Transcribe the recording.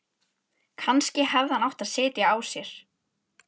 Kannski hefði hann átt að sitja á sér.